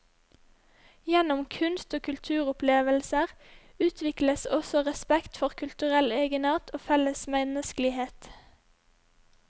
Gjennom kunst og kulturopplevelser utvikles også respekt for kulturell egenart og felles menneskelighet.